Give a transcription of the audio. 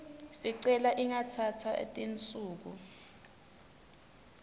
sicelo ingatsatsa tinsuku